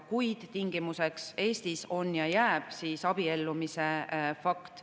Kuid Eestis on ja jääb tingimuseks abiellumise fakt.